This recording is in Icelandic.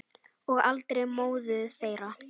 Og aldrei móður þeirra.